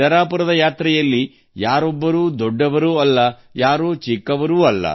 ಪಂಢರಪುರ ಯಾತ್ರೆಯಲ್ಲಿ ಯಾರೊಬ್ಬರೂ ದೊಡ್ಡವರಲ್ಲ ಹಾಗೂ ಚಿಕ್ಕವರಲ್ಲ